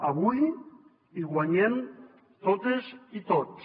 avui hi guanyem totes i tots